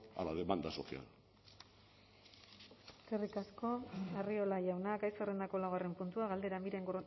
a la demanda social eskerrik asko arriola jauna gai zerrendako laugarren puntua galdera miren